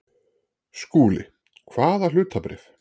SKÚLI: Hvaða hlutabréf?